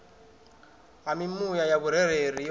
ha mimuya ya vhurereli yo